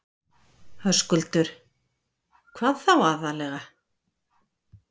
Höskuldur: Hvað þá aðallega?